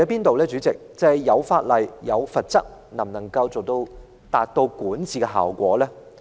代理主席，問題是法例和罰則能否發揮管治效果呢？